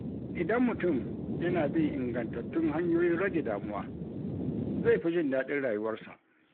Idan mutum yana bin ingantattun hanyoyin rage damuwa, zai fi jin daɗin rayuwarsa.